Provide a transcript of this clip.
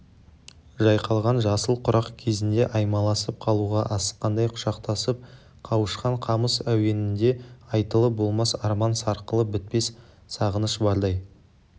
жайқалған жасыл құрақ кезінде аймаласып қалуға асыққандай құшақтасып қауышқан қамыс әуенінде айтылып болмас арман сарқылып бітпес сағыныш бардай